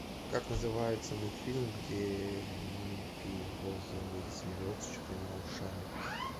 как называется мультфильм где маленький розовый зверек с четырьмя ушами